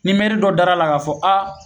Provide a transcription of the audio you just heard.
Ni mɛri dɔ dara la ka fɔ a